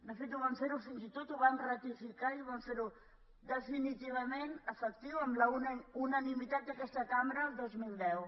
de fet vam fer ho fins i tot ho vam ratificar i vam fer ho definitivament efectiu amb la unanimitat d’aquesta cambra el dos mil deu